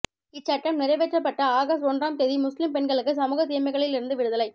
இச்சட்டம் நிறைவேற்றப்பட்ட ஆகஸ்ட் ஒன்றாம் தேதி முஸ்லிம் பெண்களுக்கு சமூக தீமைகளில் இருந்து விடுதலை